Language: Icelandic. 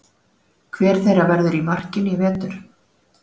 Hver þeirra verður í markinu í vetur?